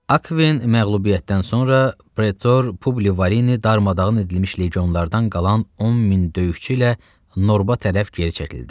Akven məğlubiyyətdən sonra pretor Publi Varini darmadağın edilmiş legionlardan qalan 10 min döyüşçü ilə Norba tərəf geri çəkildi.